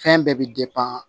Fɛn bɛɛ bɛ